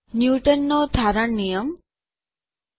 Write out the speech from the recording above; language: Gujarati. ન્યુટનનો ઠારણ નિયમ ન્યૂટન્સ લાવ ઓએફ કૂલિંગ